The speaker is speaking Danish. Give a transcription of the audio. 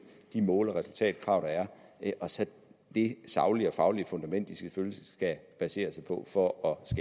de mål og resultatkrav der er og så det saglige og faglige fundament de selvfølgelig skal basere sig på for